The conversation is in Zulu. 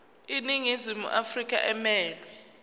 iningizimu afrika emelwe